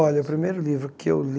Olha, o primeiro livro que eu li...